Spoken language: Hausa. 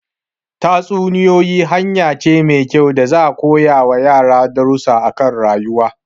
Tatsuniyoyi hanya ce mai kyau da za'a koyar wa yara darusa akan rayuwa